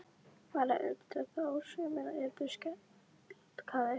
Var að undra þó sumir yrðu skelkaðir?